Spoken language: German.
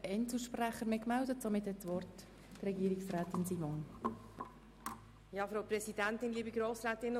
Deshalb bitte ich Sie, wie die FiKo-Mehrheit abzustimmen.